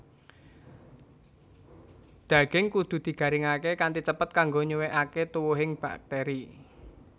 Dhaging kudu digaringake kanthi cepet kanggo nyuwèkake tuwuhing bakteri